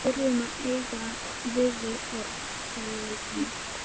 Við þurfum að eiga við þig orð- sagði Valdimar.